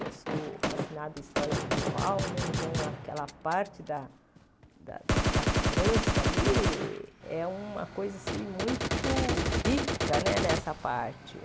Eu sou fascinada em história medieval né, então aquela parte da da França ali é uma coisa muito rica né nessa parte.